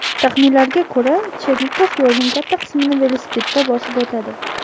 Taxminlarga ko‘ra, Chernikov yo‘lning katta qismini velosipedda bosib o‘tadi.